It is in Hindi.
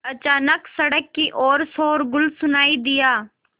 अचानक सड़क की ओर शोरगुल सुनाई दिया